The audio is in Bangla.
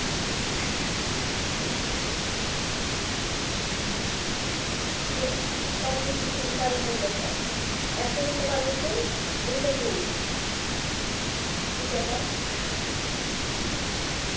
এইযে স্বপ্নপুরীতে বিশাল মূল্যছাড় একটা কিনলে কয়টা ফ্রি? দুইটা ফ্রি কি যেন?